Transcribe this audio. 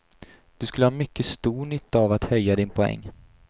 Du skulle ha mycket stor nytta av att höja din poäng.